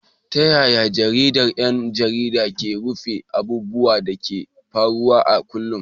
Ta yaya jaridar 'yan jarida ke rufe abubuwan da ke faruwa a kullum?